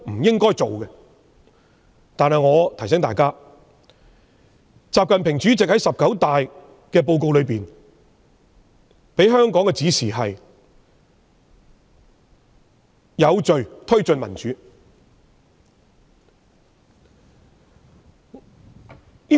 然而，我提醒大家，習近平主席在"十九大"報告中給予香港的指示是"有序推進民主"。